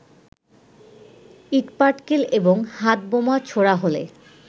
ইটপাটকেল এবং হাতবোমা ছোঁড়া হলে